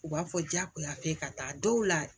U b'a fɔ jagoya f'e ka taa dɔw la